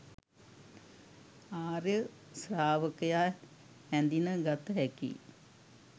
ආර්ය ශ්‍රාවකයා හැඳින ගත හැකියි